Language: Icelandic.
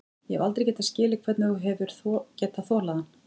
Ég hef aldrei getað skilið hvernig þú hefur getað þolað hann.